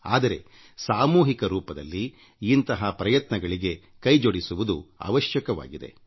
ಆದರೂ ಸಂಘಟಿತವಾಗಿ ಇಂಥಹ ಪ್ರಯತ್ನಗಳಲ್ಲಿ ಕೈ ಜೋಡಿಸುವುದು ಅವಶ್ಯಕವಾಗಿದೆ